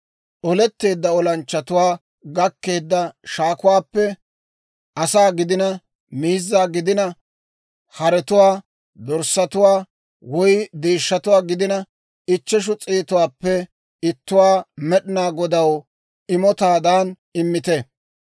Oletteedda olanchchatuwaa gakkeedda shaakuwaappe, asaa gidina, miizza gidina, haretuwaa, dorssatuwaa woy deeshshatuwaa gidina, ichcheshu s'eetuwaappe ittuwaa Med'inaa Godaw imotaadan immite.